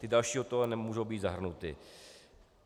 Ty další do toho nemůžou být zahrnuty.